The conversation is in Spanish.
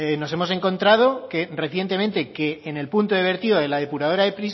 nos hemos encontrado que recientemente que en el punto de vertido de la depuradora de